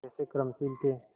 कैसे कर्मशील थे